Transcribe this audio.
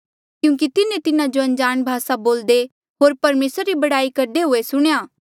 क्यूंकि तिन्हें तिन्हा जो अनजाण भासा बोल्दे होर परमेसरा री बड़ाई करदे हुए सुणेया